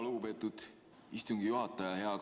Lugupeetud istungi juhataja!